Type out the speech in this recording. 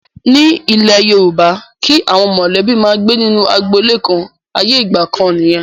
Ní ilẹ̀ Yorùbá, kí àwọn mọ̀lẹ́bí máa gbé nínú agboolé kan, ayé ìgbà kan nìyẹn.